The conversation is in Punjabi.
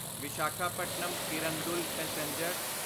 ਵਿਸ਼ਾਖਾਪਟਨਮ ਕਿਰੰਦੁਲ ਪੈਸੇਂਜਰ